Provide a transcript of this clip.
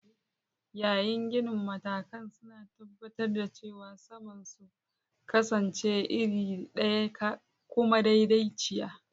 Yayin ginin, matakan suna tabbatar da cewa saman sun kasance iri ɗaya kuma madaidaiciya.